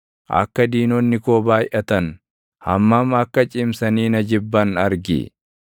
Akka diinonni koo baayʼatan, hammam akka cimsanii na jibban argi!